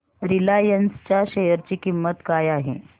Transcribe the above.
Reliance च्या share ची किंमत काय आहे